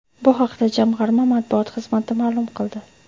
Bu haqda jamg‘arma matbuot xizmati ma’lum qildi .